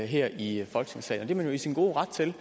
her i folketingssalen det man jo i sin gode ret til